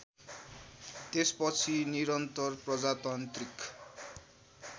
त्यसपछि निरन्तर प्रजातान्त्रिक